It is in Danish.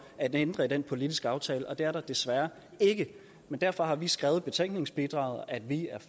at ændre i den politiske aftale men det er der desværre ikke derfor har vi skrevet i betænkningsbidraget at vi